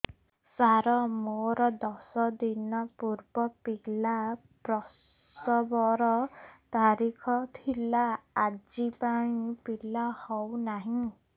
ସାର ମୋର ଦଶ ଦିନ ପୂର୍ବ ପିଲା ପ୍ରସଵ ର ତାରିଖ ଥିଲା ଆଜି ଯାଇଁ ପିଲା ହଉ ନାହିଁ